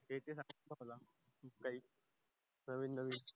आहे मला काही नवीन नवीन